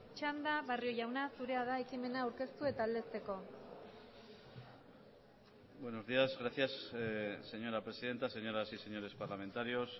txanda barrio jauna zurea da ekimena aurkeztu eta aldezteko buenos días gracias señora presidenta señoras y señores parlamentarios